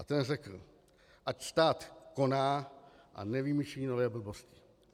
A ten řekl: Ať stát koná a nevymýšlí nové blbosti.